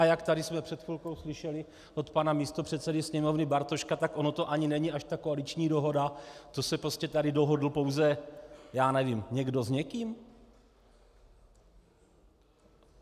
A jak tady jsme před chvilkou slyšeli od pana místopředsedy Sněmovny Bartoška, tak ono to ani není až tak koaliční dohoda, to se prostě tady dohodl pouze - já nevím - někdo s někým?